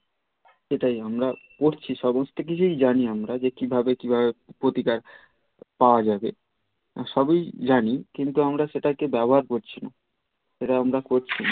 সেটাই আমরা করছি সমস্ত কিছুই জানি আমরা যে কি ভাবে কি ভাবে প্রতিকার পাওয়া যাবে সবই জানি কিন্তু আমরা সেটা কে ব্যবহার করছি না সেটা আমরা করছি না